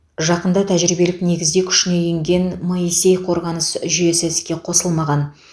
жақында тәжірибелік негізде күшіне енген моисей қорғаныс жүйесі іске қосылмаған